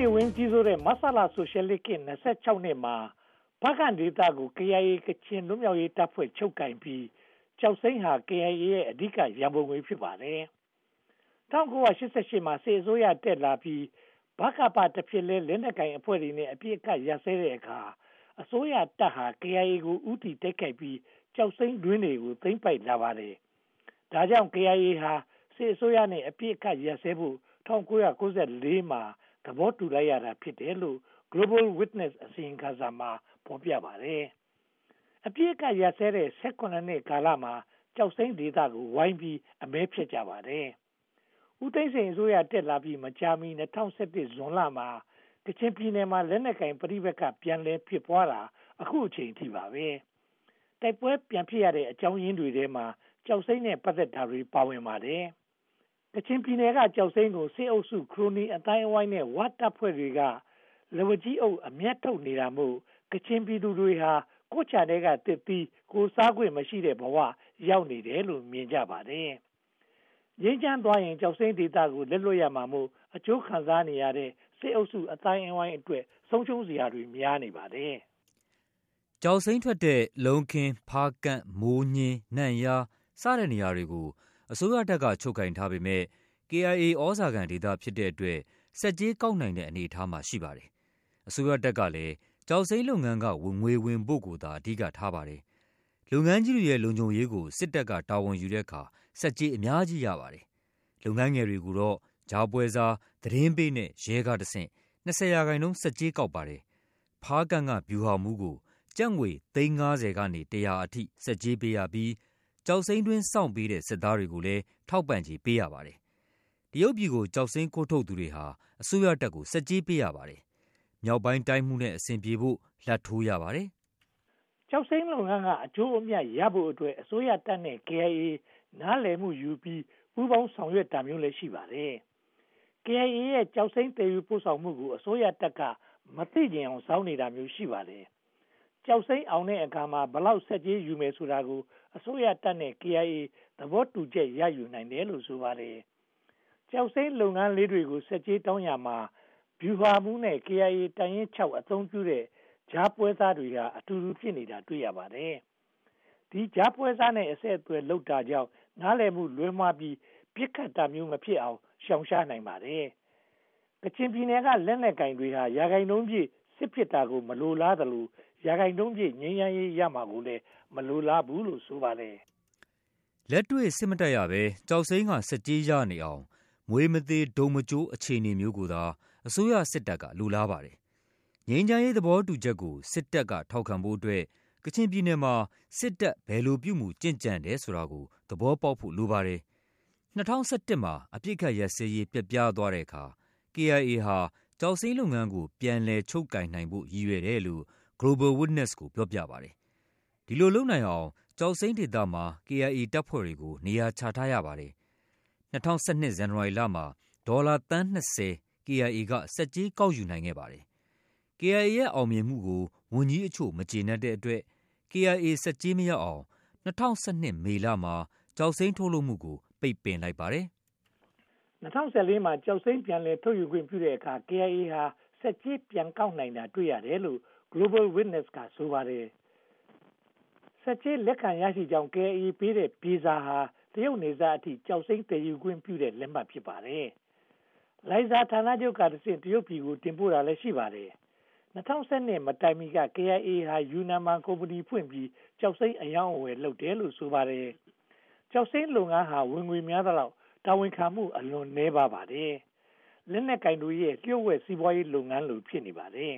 နေဝင်း ကြီးစိုးတဲ့ မဆလ ဆိုရှယ်လစ်ခေတ် (၂၆) နှစ်မှာ ဖားကန့်ဒေသကို KIA က ကချင်လွတ်မြောက်ရေးတပ်ဖွဲ့ ချုပ်ကိုင်ပြီး ကျောက်စိမ်းဟာ KIA ရဲ့ အဓိကရန်ပုံငွေ ဖြစ်ပါတယ်။ ၁၉၈၈ မှာ စစ်အစိုးရတက်လာပြီး ဗကပ တဖြစ်လဲ လက်နက်ကိုင်အဖွဲ့တွေနဲ့ အပစ်အခတ်ရပ်စဲတဲ့အခါ အစိုးရတပ်ဟာ KIA ကို ဦးတည်တိုက်ခိုက်ပြီး ကျောက်စိမ်းတွင်းတွေကို သိမ်းပိုက်လာပါတယ်။ ဒါကြောင့် KIA ဟာ စစ်အစိုးရနဲ့ အပစ်အခတ်ရပ်စဲဖို့ ၁၉၉၄ မှာ သဘောတူလိုက်ရတာ ဖြစ်တယ်လို့ Global Witness အစီရင်ခံစာမှာ ဖော်ပြပါတယ်။ အပစ်အခတ်ရပ်စဲတဲ့ (၁၇) နှစ်ကာလမှာ ကျောက်စိမ်းဒေသကို ဝိုင်းအမဲဖျက်ကြပါတယ်။ ဦးသိန်းစိန်အစိုးရ တက်လာပြီးမကြာမီ ၂၀၁၁ ဇွန်လမှာ ကချင်ပြည်နယ်မှာ လက်နက်ကိုင်ပဋိပက္ခ ပြန်လည်ဖြစ်ပွားတာ အခုအချိန်အထိပါပဲ။ တိုက်ပွဲပြန်ဖြစ်ရတဲ့အကြောင်းရင်းတွေထဲမှာ ကျောက်စိမ်းနဲ့ ပတ်သက်တာတွေ ပါဝင်နေပါတယ်။ ကချင်ပြည်နယ်က ကျောုက်စိမ်းကို စစ်အုပ်စု၊ ခရိုနီအသိုင်းအဝိုင်းနဲ့ ဝတပ်ဖွဲ့တို့က လက်ဝါးကြီးအုပ် အမြတ်ထုတ်နေတာမို့ ကချင်ပြည်သူတွေဟာ ကိုယ်ခြံထဲက သစ်သီးကိုယ်စားခွင့်မရှိတဲ့ဘဝ ရောက်နေတယ်လို့ မြင်ကြပါတယ်။ ငြိမ်းချမ်းသွားရင် ကျောက်စိမ်းဒေသကို လက်လွှတ်ရမှာမို့ အကျိုးခံစားနေရတဲ့ စစ်အုပ်စုအသိုင်းအဝိုင်းအတွက် ဆုံးရှုံးစရာတွေများနေပါတယ်။ ကျောက်စိမ်းထွက်တဲ့ လုံးခင်း၊ ဖားကန့်၊ မိုးညဉ်း၊ နန့်ယား စတဲ့နေရာတွေကို အစိုးရတပ်က ချုပ်ကိုင်ထားပေမယ့် KIA သြဇာခံဒေသဖြစ်တဲ့အတွက် ဆက်ကြေးကောက်နိုင်တဲ့ အနေအထားမှာ ရှိပါတယ်။ အစိုးရတပ်ကလည်း ကျောက်စိမ်းလုပ်ငန်းက ငွေဝင်ဖို့ကိုသာ အဓိကထားပါတယ်။ လုပ်ငန်းကြီးတွေရဲ့ လုံခြုံရေးကို စစ်တပ်က တာဝန်ယူတဲ့အခါ ဆက်ကြေးအများကြီးရပါတယ်။ လုပ်ငန်းငယ်တွေကိုတော့ ကြားပွဲစား၊ သတင်းပေးနဲ့ရဲတို့ကတဆင့် (၂၀) ရာခိုင်နှုန်းဆက်ကြေးကောက်ပါတယ်။ ဖားကန့်က ဗျူဟာမှူးကို ကျပ်ငွေသိန်းငါးဆယ်က တရာအထိ ဆက်ကြေးပေးရပြီး ကျောက်စိမ်းတွင်းစောင့်ပေးတဲ့ စစ်သားတွေကိုလည်း ထောက်ပံ့ကြေးပေးရပါတယ်။ တရုတ်ပြည်ကို ကျောက်စိမ်းခိုးထုတ်သူတွေဟာ အစိုးရကို ဆက်ကြေးပေးရပါတယ်။ မြောက်ပိုင်းတိုင်းမှူးနဲ့ အဆင်ပြေဖို့ လာဘ်ထိုးရပါတယ်။ ကျောက်စိမ်းလုပ်ငန်းက အကျိုးအမြတ်ရယူဖို့အတွက် အစိုးရတပ်နဲ့ KIA နားလည်မှုယူပြီး ပူးပေါင်းဆောင်ရွက်တာမျိုးလည်း ရှိပါတယ်။ KIA ရဲ့ ကျောက်စိမ်းသယ်ယူပို့ဆောင်မှုကို အစိုးရတပ်က မသိချင်ယောင်ဆောင်နေတာမျိုး ရှိပါတယ်။ ကျောက်စိမ်းအောင်တဲ့အခါမှာ ဘယ်လောက်ဆက်ကြေးယူမယ်ဆိုတာကို အစိုးရတပ်ကို KIA သဘောတူချက်ရယူနိုင်တယ်လို့ ဆိုပါတယ်။ ကျောက်စိမ်းလုပ်ငန်းလေးတွေကို ဆက်ကြေးတောင်းရာမှာ ဗျူးဟာမှူးနဲ့ KIA တပ်ရင်း (၆) အသုံးပြုတဲ့ ကြားပွဲစားတွေဟာ အတူတူဖြစ်နေတာ တွေ့ရပါတယ်။ ဒီကြားုပွဲစားနဲ့ အဆက်အသွယ်လုပ်တာကြောင့် နားလည်မှုလွဲမှားပြီး ပစ်ခတ်တာမျိုးမဖြစ်အောင် ရှောင်ရှားနိုင်ပါတယ်။ ကချင်ပြည်နယ်က လက်နက်ကိုင်တွေဟာ ရာခိုင်နှုန်းပြည့် စစ်ဖြစ်တာကို မလိုလားသလို ရာခိုင်နှုန်းပြည့် ငြိမ်းချမ်းရေးရမှာကိုလည်း မလိုလားဘူးလို့ ဆိုပါတယ်။ လက်တွေ့စစ်မတိုက်ရဘဲ ကျောက်စိမ်းက ဆက်ကြေးရအောင် မြွေမသေတုတ်မကျိုး အခြေအနေမျိုးကိုသာ အစိုးရစစ်တပ်က လိုလားပါတယ်။ ငြိမ်းချမ်းရေးသဘောတူညီချက်ကို စစ်တပ်ထောက်ခံဖို့အတွက် ကချင်ပြည်နယ်မှာ စစ်တပ် ဘယ်လိုပြုမှုကျင့်ကြံတယ်ဆိုတာကို သဘောပေါက်ဖို့ လိုပါတယ်။ ၂၀၁၁ မှာ အပစ်အခတ်ရပ်စဲရေး ပျက်ပြားသွားတဲ့အခါ KIA ဟာ ကျောက်စိမ်းလုပ်ငန်းကို ပြန်လည်ချုပ်ကိုင်နိုင်ဖို့ ရည်ရွယ်တယ်လို့ Global Witness ကို ပြောပြပါတယ်။ ဒီလိုလုပ်နိုင်အောင် ကျောက်စိမ်းဒေသမှာ KIA တပ်ဖွဲ့တွေကို နေရာချထားရပါတယ်။ ၂၀၁၂ ဇန်နဝါရီလမှာ ဒေါ်လာသန်း (၂၀) KIA က ဆက်ကြေးကောက်ယူနိုင်ခဲ့ပါတယ်။ KIA ရဲ့ အောင်မြင်မှုကို ဝန်ကြီးအချို့ မကျေနပ်တဲ့အတွက် KIA ဆက်ကြေးမရအောင် ၂၀၁၂ မေလမှာ ကျောက်စိမ်းထုတ်လုပ်မှုကို ပိတ်ပင်လိုက်ပါတယ်။ ၂၀၁၄ ကျောက်စိမ်း ပြန်လည်ထုတ်ယူခွင့်ပြုတဲ့အခါမှာ KIA ဟာ ဆက်ကြေးပြန်ကောက်နိုင်တာ တွေ့ရတယ်လို့ Global Witness က ဆိုပါတယ်။ ဆက်ကြေးလက်ခံရရှိကြောင်း KIA က ပေးတဲ့ ပြေစာဟာ တရုတ်နယ်စပ်အထိ ကျောက်စိမ်းသယ်ခွင့်ပြုတဲ့လက်မှတ် ဖြစ်ပါတယ်။ လိုင်ဇာဌာနချုပ်ကတဆင့် တရုတ်ပြည်ကို တင်ပို့တာလည်း ရှိပါတယ်။ ၂၀၁၂ မတိုင်မီက KIA ဟာ ယူနန်မှာ ကုမ္ပဏီဖွင့်ပြီး ကျောက်စိမ်းအရောင်းအဝယ်လုပ်တယ်လို့ ဆိုပါတယ်။ ကျောက်စိမ်းလုပ်ငန်းဟာ ဝင်ငွေများသလောက် တာဝန်ခံမှု အလွန်နည်းပါးပါတယ်။ လက်နက်ကိုင်တွေရဲ့ လျှို့ဝှက်စီးပွားရေးလုပ်ငန်းလို ဖြစ်နေပါတယ်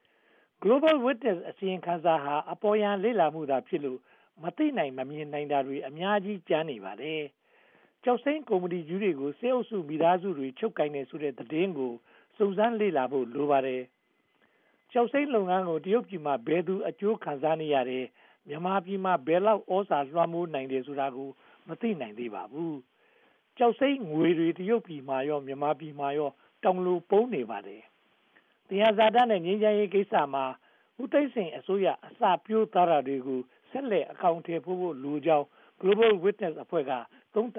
။ Global Witness အစီရင်ခံစာဟာ အပေါ်ယံလေ့လာမှုသာဖြစ်လို့ မသိနိုင်မမြင်နိုင်တာ အများကြီး ကျန်နေပါတယ်။ ကျောက်စိမ်းကုမ္မဏီကြီးတွေကို စစ်အုပ်စုမိသားစုတွေ ချုပ်ကိုင်တယ်ဆိုတဲ့သတင်းကို စုံစမ်းလေ့လာဖို့ လိုပါတယ်။ ကျောက်စိမ်းလုပ်ငန်းကို တရုတ်ပြည်မှာ ဘယ်သူ အကျိုးခံစားနေရတယ်။ မြန်မာပြည်မှာ ဘယ်လောက် သြဇာလွှမ်းမိုးနိုင်တယ်ဆိုတာကိုလည်း မသိနိုင်သေးပါဘူး။ ကျောက်စိမ်းငွေတွေ တရုတ်ပြည်မှာရော မြန်မာပြည်မှာပါ တောင်လိုပုံနေပါတယ်။ သယံဇာတနဲ့ ငြိမ်းချမ်းရေးကိစ္စမှာ ဦးသိန်းစိန်အစိုးရ အစပျိုးသွားတာတွေကို ဆက်လက်အကောင်အထည်ဖော်ဖို့လိုကြောင်း Global Witness အဖွဲ့က သုံးသပ်